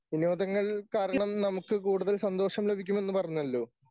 വിനോദങ്ങൾ കാരണം നമുക്ക് കൂടുതൽ സന്തോഷം ലഭിക്കുമെന്ന് പറഞ്ഞല്ലോ?